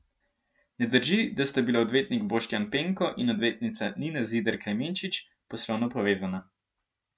Ne drži, da sta bila odvetnik Boštjan Penko in odvetnica Nina Zidar Klemenčič poslovno povezana.